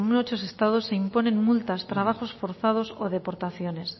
muchos estados se imponen multas trabajos forzados o deportaciones